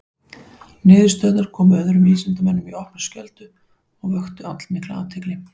Niðurstöðurnar komu öðrum vísindamönnum í opna skjöldu og vöktu allmikla athygli.